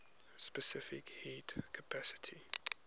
specific heat capacity